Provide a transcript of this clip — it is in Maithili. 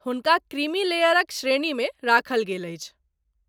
हुनका क्रीमी लेयरक श्रेणी मे राखल गेल अछि।